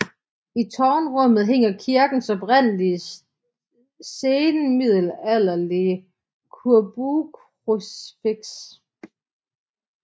I tårnrummet hænger kirkens oprindelige senmiddelalderlige korbuekrucifiks